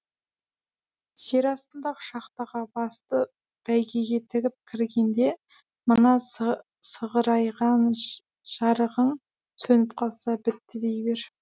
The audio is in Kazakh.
жер астындағы шахтаға басты бәйгеге тігіп кіргенде мына сығырайған жарығың сөніп қалса бітті дей бер